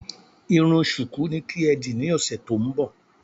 Irun ṣùkú ni kí ẹ dì ní ọ̀sẹ̀ tó ń bọ̀!